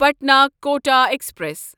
Patna Kota express